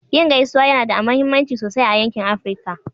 Yin gaisuwa yana da mahimmanci sosai a yankin Afirka.